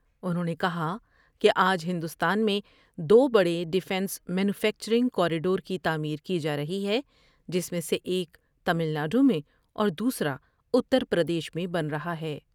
انہوں نے کہا کہ آج ہندوستان میں دو بڑے ڈفینس مینوفیکچرنگ کاریڈور کی تعمیر کی جارہی ہے جس میں سے ایک تمل ناڈو میں اور دوسرا اتر پردیش میں بن رہا ہے ۔